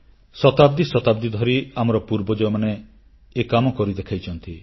ଶତାବ୍ଦୀ ଶତାବ୍ଦୀ ଧରି ଆମର ପୂର୍ବଜମାନେ ଏ କାମ କରି ଦେଖାଇଛନ୍ତି